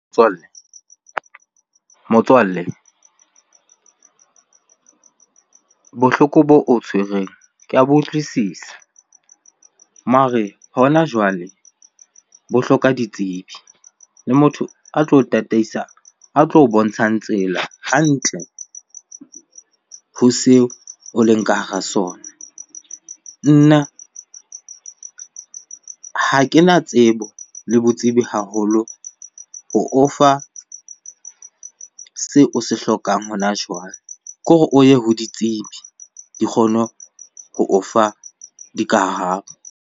Motswalle, motswalle. Bohloko boo o tshwereng ke ya bo utlwisisa. Mare hona jwale bo hloka ditsebi le motho a tlo o tataisa, a tlo o bontshang tsela hantle ho seo o leng ka hara sona. Nna, ha kena tsebo le botsebi haholo ho o fa seo o se hlokang hona jwale. Ke hore o ye ho ditsebi di kgone ho o fa dikarabo.